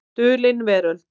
Dulin Veröld.